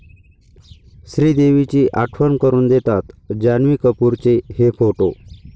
श्रीदेवीची आठवण करून देतात, जान्हवी कपूरचे 'हे' फोटो